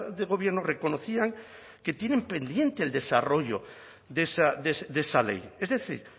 de gobierno reconocían que tienen pendiente el desarrollo de esa ley es decir